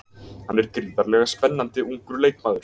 Hann er gríðarlega spennandi ungur leikmaður.